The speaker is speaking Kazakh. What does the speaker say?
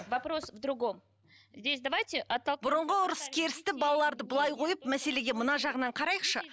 вопрос в другом здесь давайте бұрынғы ұрыс керісті балаларды былай қойып мәселеге мына жағынан қарайықшы